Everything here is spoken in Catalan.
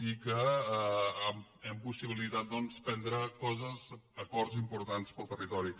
i que hem possibilitat prendre acords importants per al territori